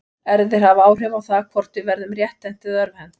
Erfðir hafa áhrif á það hvort við verðum rétthent eða örvhent.